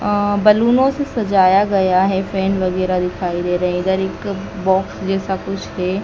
आह बैलूनों से सजाया गया है फैन वगैरा दिखाई दे रहे है इधर एक बॉक्स जैसा कुछ है।